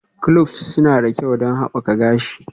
Cloves suna da kyau don haɓaka gashi.